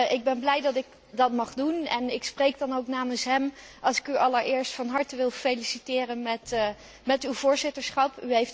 Ik ben blij dat ik dat mag doen en ik spreek dan ook namens hem als ik u allereerst van harte feliciteer met uw voorzitterschap.